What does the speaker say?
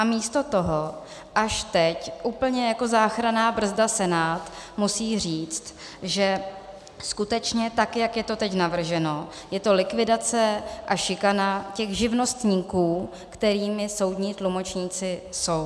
A místo toho až teď, úplně jako záchranná brzda, Senát musí říct, že skutečně tak, jak je to teď navrženo, je to likvidace a šikana těch živnostníků, kterými soudní tlumočníci jsou.